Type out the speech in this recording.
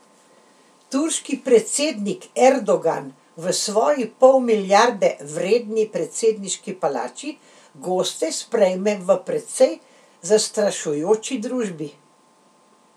Turški predsednik Erdogan v svoji pol milijarde vredni predsedniški palači goste sprejme v precej zastrašujoči družbi.